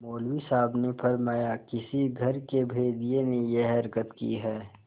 मौलवी साहब ने फरमाया किसी घर के भेदिये ने यह हरकत की है